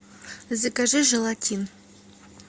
закажи желатин